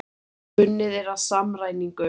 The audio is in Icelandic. unnið er að samræmingu